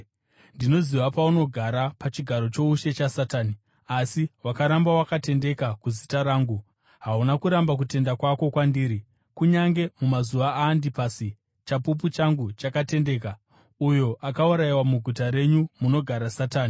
Ndinoziva paunogara, pachigaro choushe chaSatani. Asi wakaramba wakatendeka kuzita rangu. Hauna kuramba kutenda kwako kwandiri, kunyange mumazuva aAndipasi, chapupu changu chakatendeka, uyo akaurayiwa muguta renyu, munogara Satani.